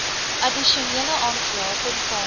addisionele aanslae tesame